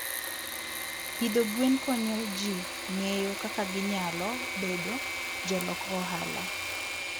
Pidho gwen konyo ji ng'eyo kaka ginyalo bedo jolok ohala.